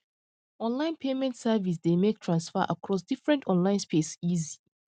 online payment service dey make transfer accross different online space easy